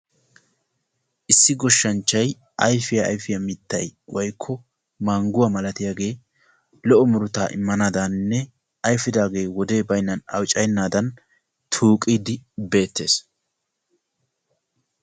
Issi goshshanchchay ayfiyaa ayfiyaa mittay woykko mangguwaa milatiyaagee lo"o murutaa immanaadaninne ayfidaagee wodee baynnan awuccayennaadan tuuqiidi beettees.